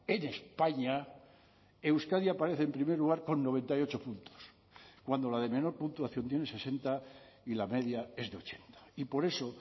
en españa euskadi aparece en primer lugar con noventa y ocho puntos cuando la de menor puntuación tiene sesenta y la media es de ochenta y por eso